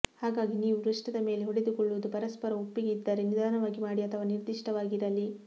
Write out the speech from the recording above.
ಹಾಗಾಗಿ ನೀವು ವೃಷ್ಠದ ಮೇಲೆ ಹೊಡೆದುಕೊಳ್ಳುವುದು ಪರಸ್ಪರ ಒಪ್ಪಿಗೆ ಇದ್ದರೆ ನಿಧಾನವಾಗಿ ಮಾಡಿ ಅಥವಾ ನಿರ್ದಿಷ್ಟವಾಗಿರಲಿ